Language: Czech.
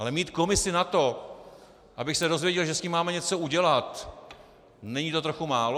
Ale mít komisi na to, abych se dozvěděl, že s tím máme něco udělat, není to trochu málo?